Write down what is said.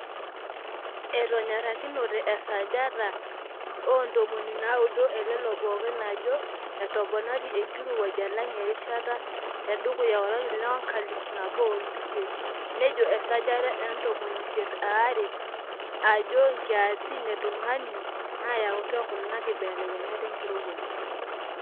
Etonyorikinote esajata oontomoni naaudo elelo pookin ajo entoponari enkirowuaj alang erishata tedukuya olari lenkalifu nabo oo iip isiet nejo esajata e ntomoni isiet oaare ajo nkiasin e tungani naayautua kuna kibelekenyat enkirowuaj.